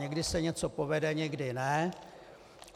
Někdy se něco povede, někdy ne.